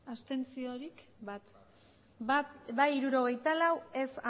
abstentzioak bai hirurogeita lau ez